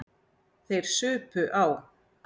Þeir supu á.